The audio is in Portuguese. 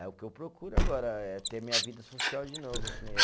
É o que eu procuro agora, é ter minha vida social de novo, que nem eu.